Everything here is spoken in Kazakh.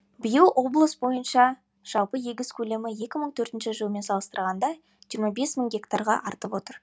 биыл облыс бойынша жалпы егіс көлемі екі мың он төртінші жылмен салыстырғанда жиырма бес мың гектарға артып отыр